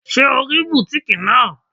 Ṣé o rí bùtíkìì náà?